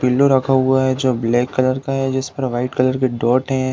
Pillow रखा हुआ है जो ब्लैक कलर का है। जिस पर व्हाइट कलर के डॉट है।